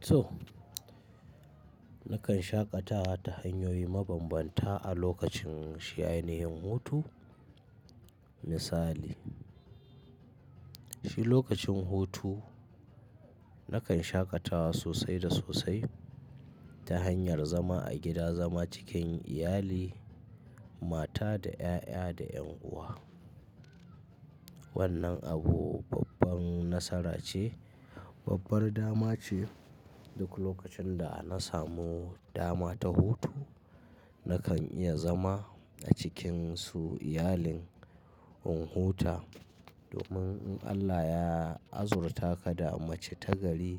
To, nakan shaƙatawa ta hanyoyi maban banta a lokacin shi ainihin hutu. Misali, shi lokacin hutu nakan shaƙatawa sosai da sosai ta hanyar zama a gida, zama cikin iyali, mata da 'ya'ya da yan uwa. Wannan abu babban nasara ce, babbar dama ce. Duk lokacin da na samu dama ta hutu, nakan iya zama a cikinsu, iyalin in huta. Domin in Allah ya azurta ka da mace ta gari,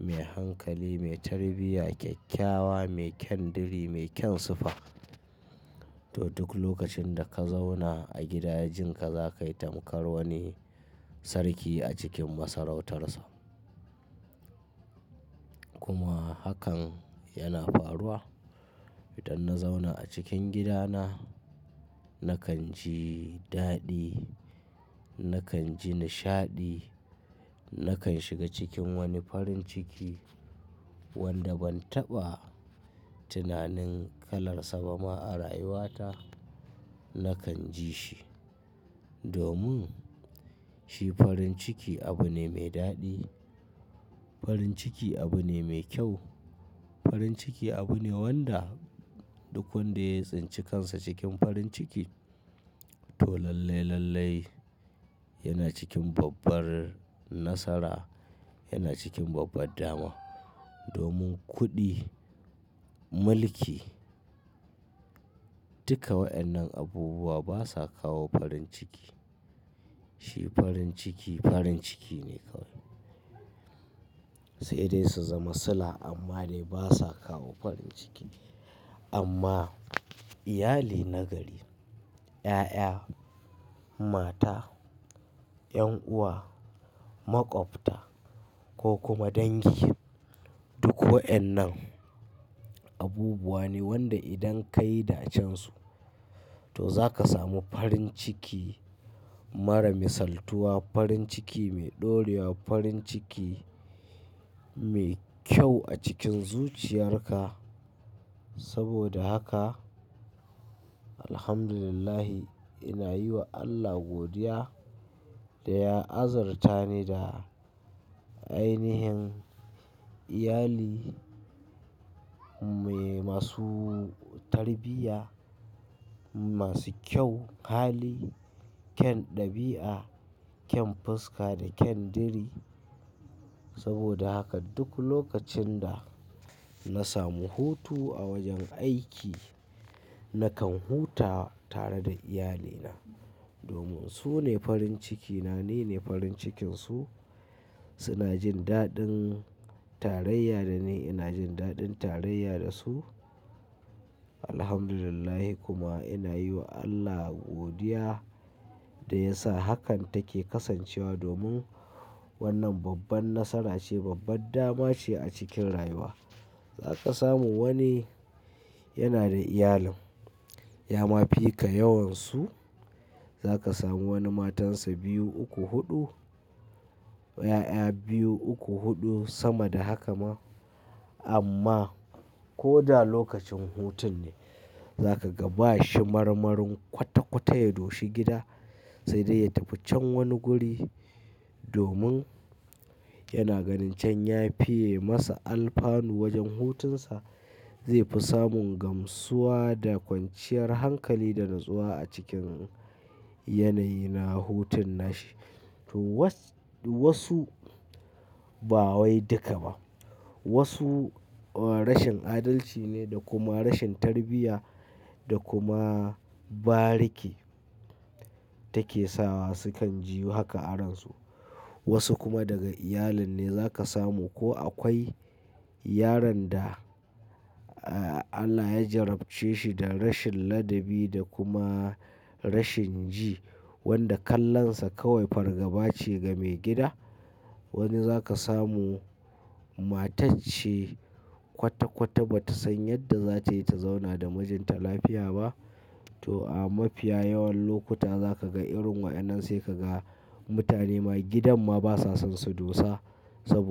mai hankali, mai tarbiyya, kyakkyawa, mai kyan diri, mai kyan sifa, to duk lokacin da ka zauna a gida, jin ka zakai tamkar wani sarki a cikin masarautarsa. Kuma hakan yana faruwa. Idan na zauna a cikin gidana, nakan ji daɗi, nakan ji nishaɗi, nakan shiga cikin wani farin ciki wanda ban taɓa tunanin kalar sa ba ma a rayuwata, nakan ji shi. Domin shi farin ciki abu ne mai daɗi. Farin ciki abu ne mai kyau. Farin ciki abu ne wanda duk wanda ya tsinci kansa cikin farin ciki, to lallai, lallai yana cikin babbar nasara, yana cikin babbar dama. Domin kuɗi, mulki, duka wayannan abubuwa basa kawo farin ciki. Shi farin ciki, farin ciki ne kawai. Sai dai su zama sula amma ne basa kawo farin ciki. Amma iyali na gari, 'ya'ya, mata, 'yan uwa, maƙwabta ko kuma dangi, duk wayannan abubuwa ne wanda idan ka yi dacensu to zaka samu farin ciki mara misaltuwa, farin ciki mai ɗorewa, farin ciki mai kyau a cikin zuciyarka. Saboda haka, alhamdulillahi, ina yi wa Allah godiya da ya azurta ni da ainihin iyali mai masu tarbiyya, masu kyau hali, kyan ɗabi'a, kyan fuska da kyan diri. Saboda haka duk lokacin da na samu hutu a wajen aiki, nakan huta tare da iyalina. Domin su ne farin cikina, ni ne farin cikinsu. Suna jin daɗin tarayya da ni, ina jin daɗin tarayya da su. Alhamdulillah kuma ina yi wa Allah godiya da ya sa hakan take kasancewa domin wannan babban nasara ce, babbar dama ce a cikin rayuwa. Za ka samu wani yana da iyalin, ya mafi ka yawan su. Za ka samu wani matansa biyu, uku, huɗu, 'ya'ya biyu, uku, huɗu sama da haka ma amma ko da lokacin hutun ne, za ka ga ba shi marmarin kwata-kwata ya doshi gida sai dai ya tafi can wani guri domin yana ganin can ya fiye masa alfanu wajen hutunsa. Zai fi samun gamsuwa da kwanciyar hankali da natsuwa a cikin yanayi na hutun nashi. To was wasu, ba wai duka ba. Wasu rashin adalci ne da kuma rashin tarbiyya da kuma bariki take sawa sukan ji haka a ransu. Wasu kuma daga iyalin ne za ka samu ko akwai yaron da Allah ya jarabce shi da rashin ladabi da kuma rashin ji, wanda kallonsa kawai fargaba ce ga maigida. Wani za ka samu matacce kwata-kwata ba ta san yadda za ta yi ta zauna da mijinta lafiya ba. To a mafiya yawan lokuta za ka ga irin wa'yannan sai ka ga mutane ma gidan ma basa son su dosa saboda.